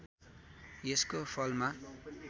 यसको फलमा